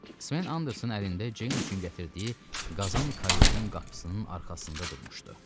Sven Anderson əlində Ceyn üçün gətirdiyi qazan kayutun qapısının arxasında durmuşdu.